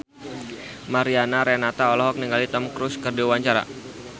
Mariana Renata olohok ningali Tom Cruise keur diwawancara